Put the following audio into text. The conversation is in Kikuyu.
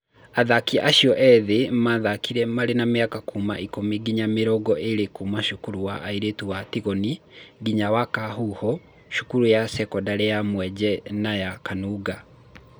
Athaki acio ethĩ arĩa mathakire marĩ a mĩaka kuma ikũmi nginya mĩrongo ĩrĩ kuma cukuru cia airĩtu cia Tigoi, Ngĩya na Kahuho, Cukuru ya cekondarĩ ya Mwenje na ya Kanunga.